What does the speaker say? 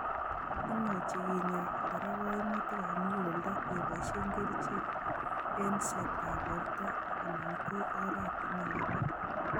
Imuchi kinya kora kaimutikab muguleldo keboishe kerichek, eng'setab borto anan ko oratinwek alak